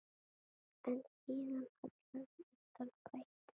En síðan hallaði undan fæti.